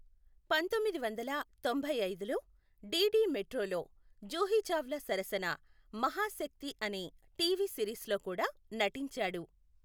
పంతొమ్మిది వందల తొంభై ఐదులో డీడీ మెట్రోలో జూహీ చావ్లా సరసన మహాశక్తి అనే టీవీ సిరీస్లో కూడా నటించాడు.